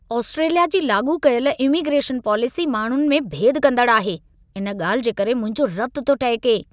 Australia जी लाॻू कयल इमीग्रेशन पॉलिसी माण्हुनि में भेदु कंदड़ु आहे। इन ॻाल्हि जे करे मुंहिंजो रत थो टहिके।